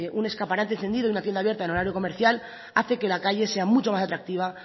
un escaparate encendido y una tienda abierta en horario comercial hace que la calle sea mucho más atractiva